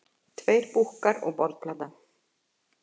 Tveir búkkar og borðplata.